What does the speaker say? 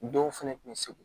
Denw fana tun bɛ segu